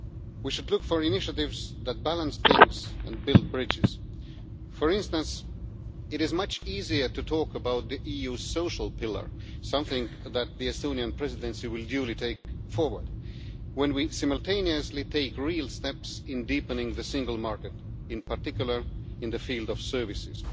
We should look for initiatives that balance things and build bridges. For instance, it is much easier to talk about the EU social pillar something that the Estonian Presidency will duly take forward when we simultaneously take real steps in deepening the single market, in particular in the field of services.